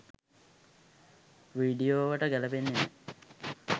වීඩියෝවට ගැලපෙන්නෙ නෑ.